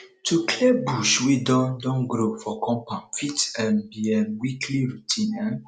to clear bush wey don don grow for compound fit um be um weekly routine um